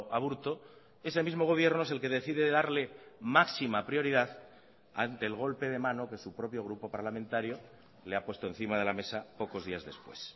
aburto ese mismo gobierno es el que decide darle máxima prioridad ante el golpe de mano que su propio grupo parlamentario le ha puesto encima de la mesa pocos días después